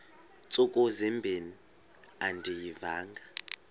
ntsuku zimbin andiyivanga